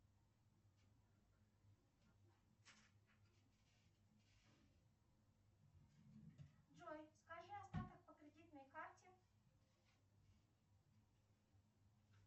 джой скажи остаток по кредитной карте